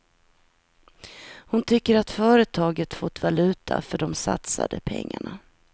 Hon tycker att företaget fått valuta för de satsade pengarna.